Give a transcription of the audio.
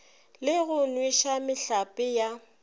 le go nweša mehlape ya